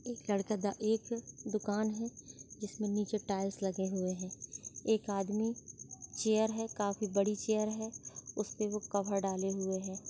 एक लड़का दा एक दुकान है जिसमें नीचे टाइल्स लगे हुए हैं एक आदमी चेयर है काफी बड़ी चेयर है उसपे वो कवर डाले हुए हैं।